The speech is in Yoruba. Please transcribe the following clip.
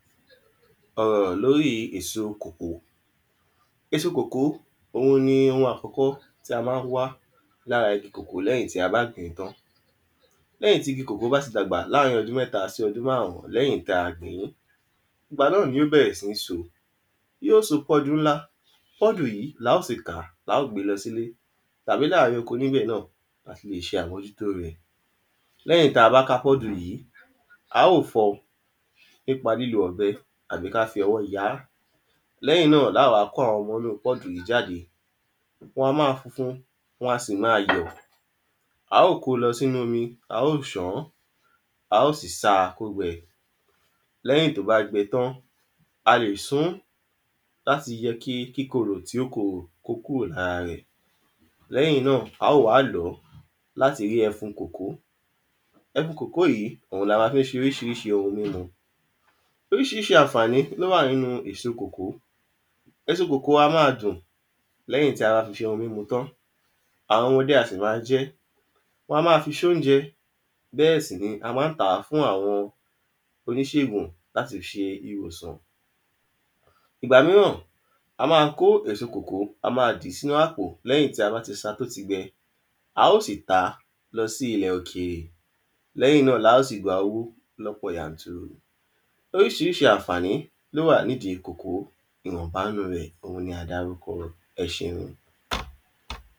ọ̀rọ̀ lóri èso kòkó, èso kòkó òun ni ohun àkọ́kọ́ tí a má ń wá lára igi kòkó lẹ́yìn ti a bá gbìn ín tán. Lẹ́yìn tí igi kòkó bá ti dàgbà láàrín ọdún mẹ́ta sí márùn lẹ́yìn tí a gbìn. ìgbà náà ni ó bẹ̀rẹ̀ si ń so, yóò so pọ́ọ́dù ńlá, pọ́ọ̀dù yìí la ó sì ká la ó gbé lọ sí ilé tàbí láàrín oko níbẹ̀ náà lati lè ṣé àmójútó rẹ̀ lẹ́yìn tí a bá ká pọ́ọ̀dù yìí, a óò fọ nípa lílo ọ̀bẹ tàbí kí a fọwọ́ ya á. Lẹ́yìn náà ni a wá kó àwọn ọmọ inú pọ́ọ̀dù yìí jáde, wọn a máa funfun, wọn a sì máa yọ̀ a óò kóo lọ sí inu ómi a óò ṣàn án, a ò sì sáa kó gbẹ lẹ́yìn tó bá gbẹ tán, a lè sun ún láti jẹ́ kí kíkorò tí ó korò kó kúrò lára rẹ̀ lẹ́yìn náà a ó wá lọ̀ ọ́ láti rí ẹfun kòkó, ẹfun kòkó yìí òun ni a máa fi ṣe oríṣiríṣi ohun mímu oríṣiríṣi àǹfàní ló wà nínu èso kòkó, èso kòkó á máa dùn lẹ́yìn tí a bá fi ṣe ohun mímu tán, àwọn ọmọdé a sì máa jẹ ẹ́, wọn á máa fi ṣe oúnjẹ bẹ́ẹ̀ sì ni a má ń tà á fún àwọn oníṣègùn láti fi ṣe ìwòsàn ìgbà míràn a ma ń kó èso kòkó a máa fi sínu àpò lẹ́yìn tí a bá ti sá a tó ti gbẹ, a óò sì tàá lọ sí ilẹ̀ òkèrè lẹ́yìn náà la óò sì gbà owó lọ́pọ̀ yanturu oríṣiríṣi àǹfàní ló wà nínu kòkó ìwọ̀nba nínu rẹ̀ la dárúkọ ẹṣeun.